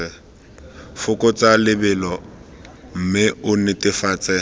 fokotsa lebelo mme o netefatse